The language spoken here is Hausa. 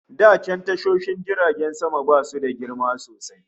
Da can tashoshin jiragen sama basu da girma sosai